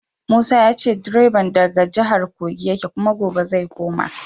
Musa ya ce direban daga jihar Kogi yake kuma gobe zai koma.